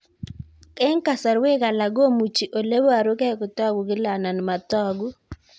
Eng' kasarwek alak komuchi ole parukei kotag'u kila anan matag'u